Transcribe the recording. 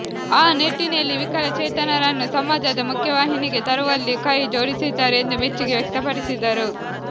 ಆ ನಿಟ್ಟಿನಲ್ಲಿ ವಿಕಲಚೇತನರನ್ನು ಸಮಾಜದ ಮುಖ್ಯವಾಹಿನಿಗೆ ತರುವುದರಲ್ಲಿ ಕೈ ಜೋಡಿಸಿದ್ದಾರೆ ಎಂದು ಮೆಚ್ಚುಗೆ ವ್ಯಕ್ತಪಡಿಸಿದರು